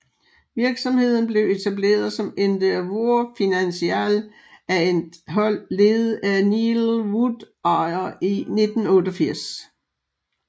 Virksomheden blev etableret som Endeavour Financial af et hold ledet af Neil Woodyer i 1988